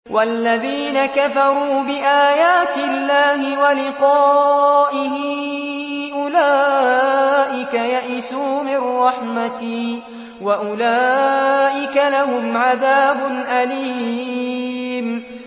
وَالَّذِينَ كَفَرُوا بِآيَاتِ اللَّهِ وَلِقَائِهِ أُولَٰئِكَ يَئِسُوا مِن رَّحْمَتِي وَأُولَٰئِكَ لَهُمْ عَذَابٌ أَلِيمٌ